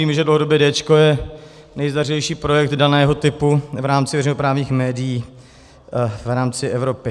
Víme, že dlouhodobě Déčko je nejzdařilejší projekt daného typu v rámci veřejnoprávních médií v rámci Evropy.